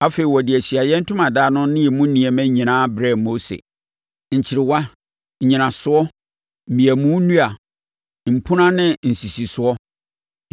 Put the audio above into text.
Afei, wɔde Ahyiaeɛ Ntomadan no ne emu nneɛma nyinaa brɛɛ Mose: Nkyerewa, nnyinasoɔ, mmeamu nnua, mpunan ne nsisisoɔ;